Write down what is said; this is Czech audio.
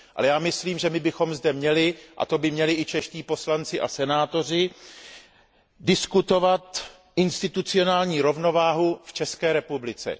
Ale já myslím, že my bychom zde měli, a to by měli i čeští poslanci a senátoři, diskutovat institucionální rovnováhu v České republice.